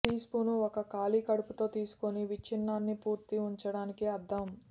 teaspoon ఒక ఖాళీ కడుపుతో తీసుకుని విచ్ఛిన్నానికి పూర్తి ఉంచడానికి అర్థం